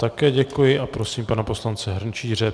Také děkuji a prosím pana poslance Hrnčíře.